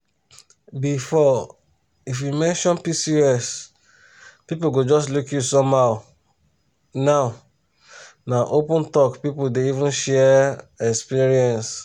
before if you mention pcos people go just look you somehow now na open talk people dey even share experience.